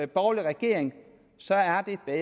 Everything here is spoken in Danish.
borgerlig regering